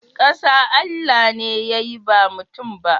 Kasa Allah ne ya yi ba mutum ba.